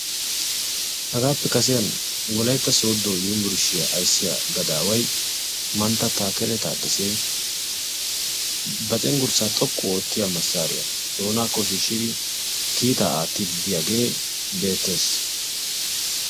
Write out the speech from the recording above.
hagappe kassiyani wolaytta sodo unburushiyaa ayssiya gaadaway taadassa takkali cengurssa xooqu ootiya maasariya oyqidi haassayid beettessi.